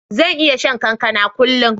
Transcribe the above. Zan iya shan kankana kullun.